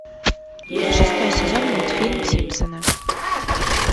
шестой сезон мультфильм симпсоны